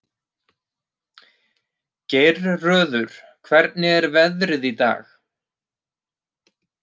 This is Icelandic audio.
Geirröður, hvernig er veðrið í dag?